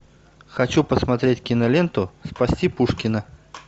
хочу посмотреть киноленту спасти пушкина